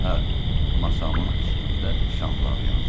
Hə, masamın üstündə şamlar yansın.